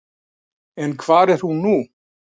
En hvar er hún nú?